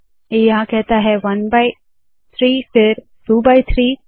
ये यहाँ कहता है 1 बाय 3 फिर 2 बाय 3